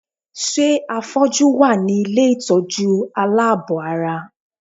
Ṣé àfọ́jú wà ní ilé ìtọ́jú aláàbọ̀-ara?